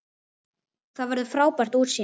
Þar verður frábært útsýni.